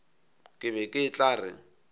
ke be ke tla re